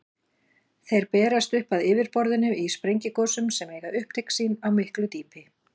Þeir berast upp að yfirborðinu í sprengigosum sem eiga upptök sín á miklu dýpi.